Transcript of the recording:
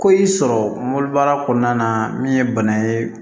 Ko y'i sɔrɔ mobili baara kɔnɔna na min ye bana ye